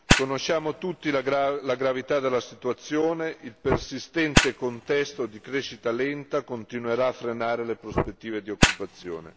Conosciamo tutti la gravità della situazione, il persistente contesto di crescita lenta continuerà a frenare le prospettive di occupazione.